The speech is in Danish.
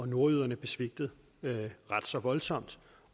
nordjyderne blev svigtet ret så voldsomt